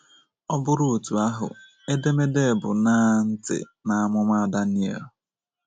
Ọ bụrụ otú ahụ, edemede bụ́ Ṅaa Ntị N'amụma Daniel!